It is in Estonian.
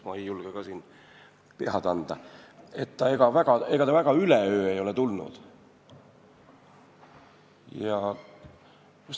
Ma ei julge pead anda, aga ega ta üleöö ei ole tulnud.